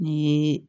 Ni ye